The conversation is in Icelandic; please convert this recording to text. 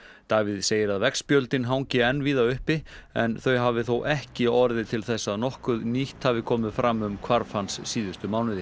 Davíð segir að veggspjöldin hangi enn víða uppi en þau hafi þó ekki orðið til þess að nokkuð nýtt hafi komið fram um hvarf hans síðustu mánuði